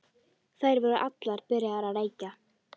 Þær voru allar byrjaðar að reykja.